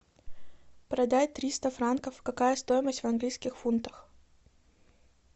продать триста франков какая стоимость в английских фунтах